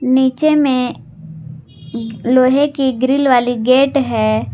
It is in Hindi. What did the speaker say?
नीचे में लोहेे की ग्रिल वाली गेट है।